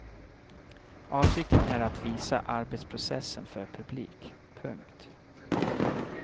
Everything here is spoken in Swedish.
Avsikten är att visa arbetsprocessen för publik. punkt